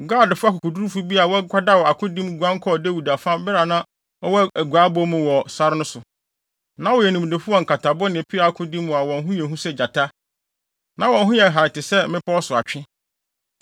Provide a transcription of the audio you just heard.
Gadfo akofo akokodurufo bi a wɔakwadaw akodi mu guan kɔɔ Dawid afa bere a na ɔwɔ aguaabɔ mu wɔ sare so no. Na wɔyɛ nimdefo wɔ nkatabo ne peaw akodi mu a wɔn ho yɛ hu sɛ gyata, na wɔn ho yɛ hare te sɛ mmepɔw so atwe.